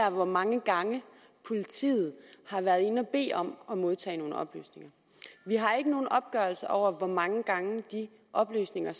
om hvor mange gange politiet har været inde at bede om at modtage oplysninger vi har ikke nogen opgørelse over hvor mange gange de oplysninger